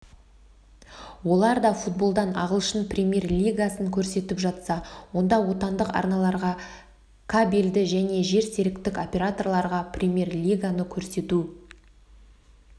оларда футболдан ағылшын премьер-лигасын көрсетіп жатса онда отандық арналарға кабелді және жерсеріктік операторларға премьер-лиганы көрсету